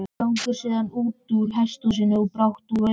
slangrar síðan útúr hesthúsinu og er brátt úr augsýn